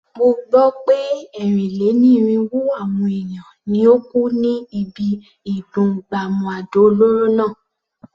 Mo gbó pé ẹ́rìn-lé-ní-irínwó àwọn èèyàn ni ó kú ní ibi ìdún gbàmù àdó olóró náà.